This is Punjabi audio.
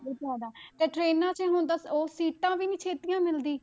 ਬਹੁਤ ਜ਼ਿਆਦਾ ਤੇ ਟਰੇਨਾਂ 'ਚ ਹੁਣ ਤਾਂ ਉਹ ਸੀਟਾਂ ਵੀ ਨੀ ਛੇਤੀਆਂ ਮਿਲਦੀ।